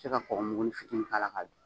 se ka kɔgɔmugunin fitiinin k'a la k'a dun.